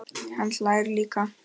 Hann hlær líka.